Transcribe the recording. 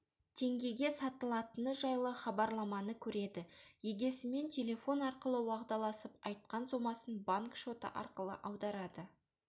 теңгеге сатылатыны жайлы хабарламаны көреді егесімен телефон арқылы уағдаласып айтқан сомасын банк шоты арқылы аударады